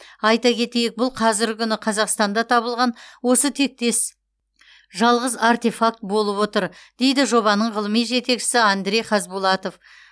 айта кетейік бұл қазіргі күні қазақстанда табылған осы тектес жалғыз артефакт болып отыр дейді жобаның ғылыми жетекшісі андрей хазбулатов